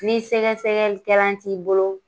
Ni sɛgɛsɛgɛli kɛlan t'i bolo